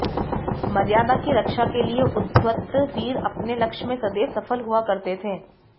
मर्यादा की रक्षा के लिये उद्धत वीर अपने लक्ष्य में सदैव सफल हुआ करते थे